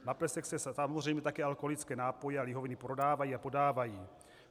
Na plesech se samozřejmě také alkoholické nápoje a lihoviny prodávají a podávají.